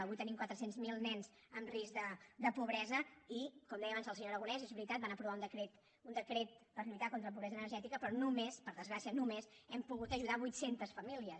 avui tenim quatre cents miler nens en risc de pobresa i com deia abans el senyor aragonès és veritat van aprovar un decret per lluitar contra la pobresa energètica però només per desgràcia només hem pogut ajudar vuit centes famílies